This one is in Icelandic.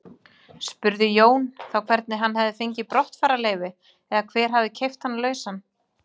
Spurði Jón þá hvernig hann hefði fengið brottfararleyfi eða hver hefði keypt hann lausan.